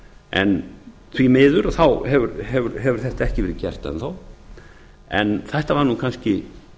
en því miður hefur þetta ekki verið gert enn þá þetta var nú kannski